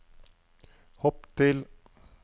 hopp til